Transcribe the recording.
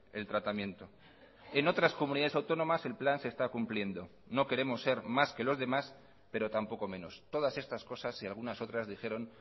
el tratamiento en otras comunidades autónomas el plan se está cumpliendo no queremos ser más que los demás pero tampoco menos todas estas cosas y algunas otras dijeron